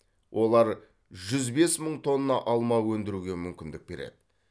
олар жүз бес мың тонна алма өндіруге мүмкіндік береді